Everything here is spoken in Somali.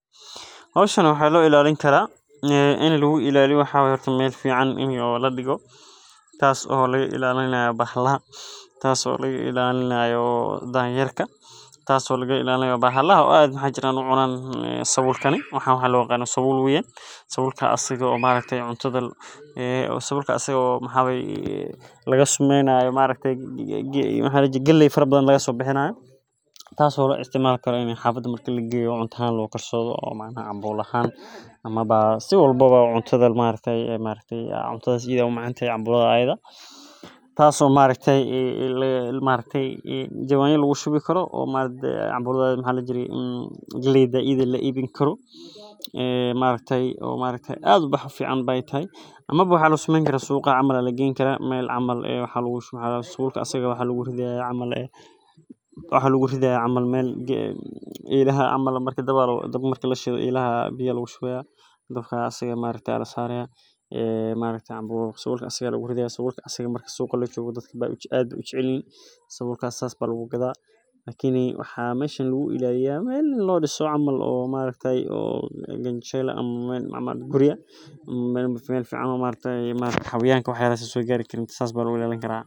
Hoshan waxaa lo ilalini karaa ini lagu ilaliyo waxaa waye ini meel fican ladigo tas oo laga ilalinayo bahalaha oo danyerka tas oo laga ilalinayo bahalaha waxaa jiran cunan sabulka waxan hada sabul waye sabulkas oo galey fara badan laga sameynayo tas ayan ari haya xafada marki lageyo cuntadha maaragte iyada ee u macantahay can bulada tas oo maaragte jawanya lagu shubi karo galeyda iyada eh la ibini karo ee maaragte aad u fican taahay amawa suqa camal aya lageyni karaa ama sabulka aya lagu shubani karaa waxaa lagu ridhaya meel elaha camal aya lagu shubaya Mark dabka aya lasaraya marka aad ayey ujecelyihin sabulka sas ba lagu gadha lakini maxaa meshan lagu ilaliya meel kanjel eh ama xayawanka aya isaso gari karin sas aya lagu ilalini karaa.